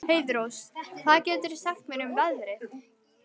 Heiðrós, hvað geturðu sagt mér um veðrið?